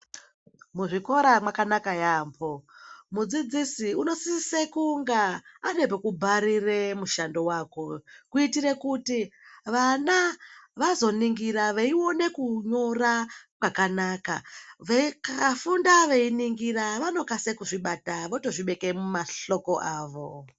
Muzvikora makanaka yambo mudzidzisi unosisa kunga ane pekubharire mushando wako kuitira kuti vana vazoningura veiona kunyora kwakanaka vakafunda veiningura vanokasira kuzvibata mumahloko avo.